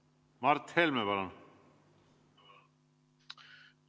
Mart Helme, palun!